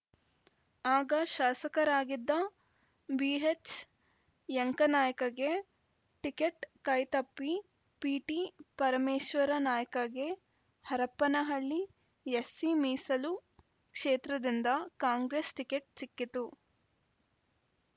ಆಗ ಶಾಸಕರಾಗಿದ್ದ ಬಿಎಚ್‌ಯಂಕನಾಯ್ಕಗೆ ಟಿಕೆಟ್‌ ಕೈ ತಪ್ಪಿ ಪಿಟಿಪರಮೇಶ್ವರನಾಯ್ಕಗೆ ಹರಪನಹಳ್ಳಿ ಎಸ್ಸಿ ಮೀಸಲು ಕ್ಷೇತ್ರದಿಂದ ಕಾಂಗ್ರೆಸ್‌ ಟಿಕೆಟ್‌ ಸಿಕ್ಕಿತು